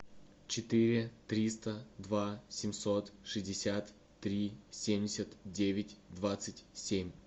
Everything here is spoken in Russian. четыре триста два семьсот шестьдесят три семьдесят девять двадцать семь